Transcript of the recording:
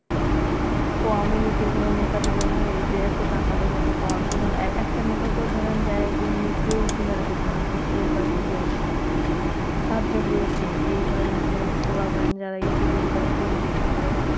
কোনো নেতা দিলো না এদের এত টাকা এত Power কোনো একটা নেতাও তো ধরেন যাইয়া একদিন মুখ দিয়া উঁকি দিয়া দেখলো না যে সিলেটবাসীর কি অবস্থা সাহায্য করলো কে এই ধরেন যে পোলাপাইন যারা Youtubing করে Facebooking করে